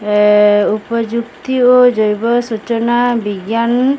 अ ऊपर झुकती हो जाईबा सुचना विज्ञान--